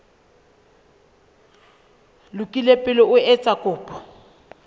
lokile pele o etsa kopo